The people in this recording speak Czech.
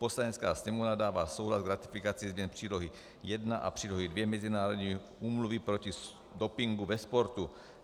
Poslanecká sněmovna dává souhlas k ratifikaci změny Přílohy I a Přílohy II Mezinárodní úmluvy proti dopingu ve sportu;